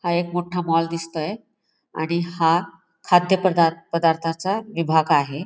हा एक मोठा मॉल दिसतोय आणि हा खाद्य पदार्र् पदार्थांचा विभाग आहे.